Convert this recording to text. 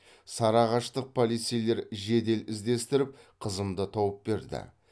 сарыағаштық полицейлер жедел іздестіріп қызымды тауып берді